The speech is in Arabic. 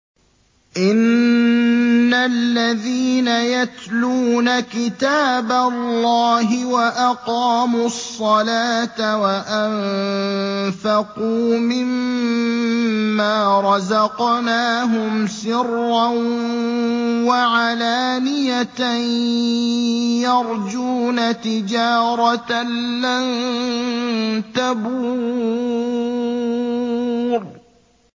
إِنَّ الَّذِينَ يَتْلُونَ كِتَابَ اللَّهِ وَأَقَامُوا الصَّلَاةَ وَأَنفَقُوا مِمَّا رَزَقْنَاهُمْ سِرًّا وَعَلَانِيَةً يَرْجُونَ تِجَارَةً لَّن تَبُورَ